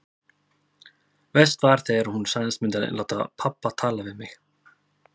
Verst var þegar hún sagðist myndu láta pabba tala við mig.